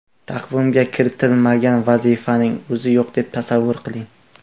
Taqvimga kiritilmagan vazifaning o‘zi yo‘q deb tasavvur qiling.